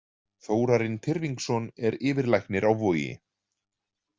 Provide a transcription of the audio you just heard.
Þórarinn Tyrfingsson er yfirlæknir á Vogi.